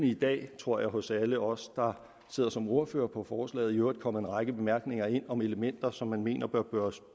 i dag tror jeg hos alle os der sidder som ordførere på forslaget i øvrigt løbende kommet en række bemærkninger ind om elementer som man mener der bør